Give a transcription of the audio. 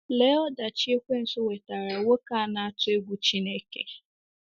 Lee ọdachi ekwensu wetaara nwoke a na-atụ egwu Chineke!